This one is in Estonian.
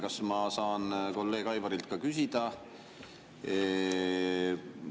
Kas ma saan kolleeg Aivarilt küsida?